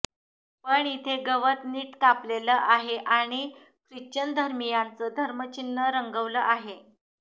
पण इथे गवत नीट कापलेलं आहे आणि ख्रिश्चन धर्मियांचं धर्मचिन्ह रंगवलं आहे